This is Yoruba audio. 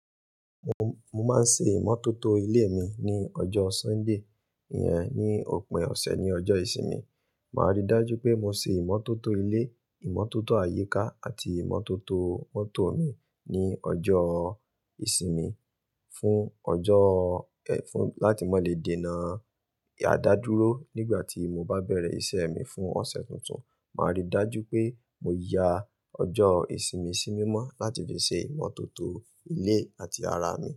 Mo, mo máa ń ṣe ìmọ́tótó ilé mi ní ọjọ́ Sunday, ìyẹn ní òpin ọ̀sẹ̀ ní ọjọ́ ìsinmi. Màá rí dájú pé mo ṣe ìmọ́tótó ilé, ìmọ́tótó àyíká àti ìmọ́tótó mọ́tò mi ní ọjọ́ ìsinmi fún ọjọ́, fún láti mọ lè dènà, a dá dúró. Nígbà tí mo bá bẹ̀rẹ̀ ìṣe mi fún ọ̀sẹ̀ tuntun, màá rí dájú pé mo ya ọjọ́ ìsinmi sí mímọ́ láti fi ṣe ìmọ́tótó ilé àti ara mi.